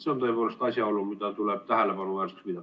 See on tõepoolest asjaolu, mida tuleb tähelepanuväärseks pidada.